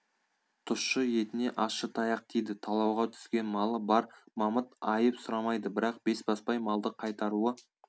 тұщы етіне ащы таяқ тиді талауға түскен малы бар мамыт айып сұрамайды бірақ бесбасбай малды қайтаруы